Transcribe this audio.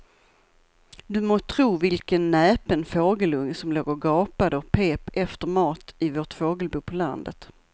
Du må tro vilken näpen fågelunge som låg och gapade och pep efter mat i vårt fågelbo på landet.